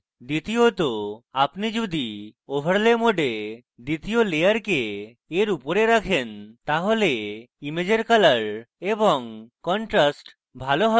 দ্বিতীয়ত আপনি যদি overlay mode দ্বিতীয় layer এর উপরে রাখেন তাহলে ইমেজের colours এবং contrast ভালো have